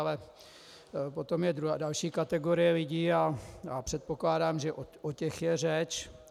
Ale potom je další kategorie lidí a předpokládám, že o těch je řeč.